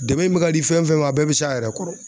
Dɛmɛn mɛ ka di fɛn fɛn ma a bɛɛ bɛ s'a yɛrɛ kɔrɔ.